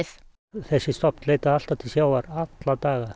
þessi stofn leitaði alltaf til sjávar alla daga